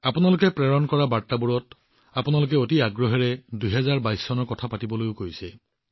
আপোনালোকে প্ৰেৰণ কৰা বাৰ্তাবোৰত আপোনালোকে পাৰ কৰি অহা ২০২২ বৰ্ষটোৰ বিষয়ে কবলৈও আহ্বান জনাইছে